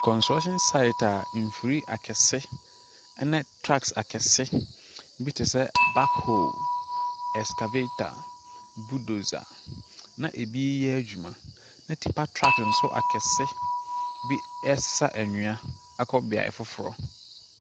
Kɔnstɛlehyin saet a mfiri akɛse ne traks akɛse bi tesɛ bak hol, eskavata, buldosa, na ebi yɛ adwuma. Na tipar trak nso akɛseɛ bi ɛsesa nnwia akɔ beae foforɔ.